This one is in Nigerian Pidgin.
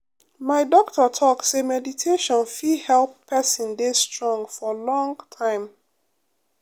my doctor talk say meditation fit help person de strong for long time.